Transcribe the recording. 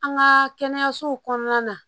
An ka kɛnɛyasow kɔnɔna na